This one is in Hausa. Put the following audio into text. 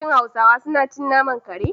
Shin hausawa suna cin naman kare?